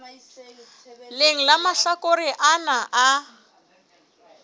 leng la mahlakore ana a